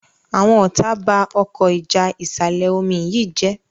Àwọn ọta bá Ọkọ́ ìjà ìsàlẹ̀-omi yí Jé.